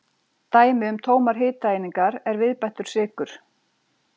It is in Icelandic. Dæmi um tómar hitaeiningar er viðbættur sykur.